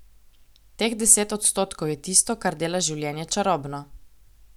Teh deset odstotkov je tisto, kar dela življenje čarobno.